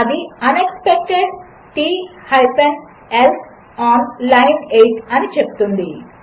అది unexpected T else on line 8 అనిచెప్తుంది